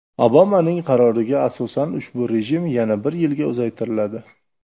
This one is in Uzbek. Obamaning qaroriga asosan ushbu rejim yana bir yilga uzaytiriladi.